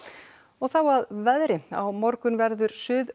þá að veðri á morgun verður